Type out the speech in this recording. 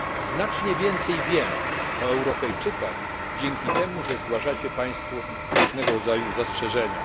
znacznie więcej wiem o Europejczykach dzięki temu, że zgłaszają państwo różnego rodzaju zastrzeżenia.